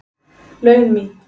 laun mín.